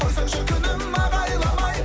қойсаңшы күнім ағайламай